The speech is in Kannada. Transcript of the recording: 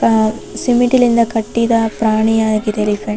ಆಹ್ಹ್ ಸಿಮೆಂಟಿನಿಂದ ಕಟ್ಟಿದ ಪ್ರಾಣಿಯಾಗಿದೆ ಎಲಿಫೆಂಟ್ .